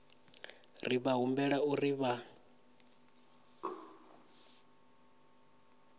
ri vha humbela uri vha